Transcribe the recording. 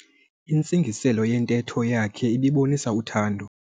Intsingiselo yentetho yakhe ibibonisa uthando.